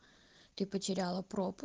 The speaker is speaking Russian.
ты потеряла пропу